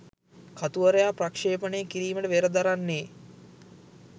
කතුවරයා ප්‍රක්ෂේපනය කිරීමට වෙර දරන්නේ